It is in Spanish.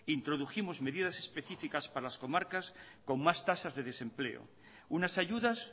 introdujimos medidas específicas para las comarcas con más tasas de desempleo unas ayudas